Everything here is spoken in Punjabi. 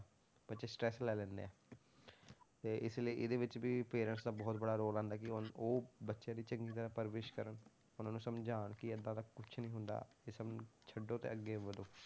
ਬੱਚੇ stress ਲੈ ਲੈਂਦੇ ਹੈ ਤੇ ਇਸ ਲਈ ਇਹਦੇ ਵਿੱਚ ਵੀ parents ਦਾ ਬਹੁਤ ਵੱਡਾ ਰੋਲ ਆਉਂਦਾ ਕਿ ਉਨ~ ਉਹ ਬੱਚਿਆਂ ਦੀ ਚੰਗੀ ਤਰ੍ਹਾਂ ਪਰਵਰਿਸ ਕਰਨ, ਉਹਨਾਂ ਨੂੰ ਸਮਝਾਉਣ ਕਿ ਏਦਾਂ ਦਾ ਕੁਛ ਨੀ ਹੁੰਦਾ, ਇਸਨੂੰ ਛੱਡੋ ਤੇ ਅੱਗੇ ਵਧੋ।